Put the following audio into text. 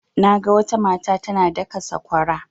Naga wata mata tana daka sakwara.